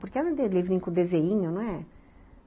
Porque com desenho, não é?